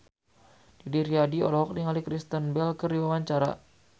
Didi Riyadi olohok ningali Kristen Bell keur diwawancara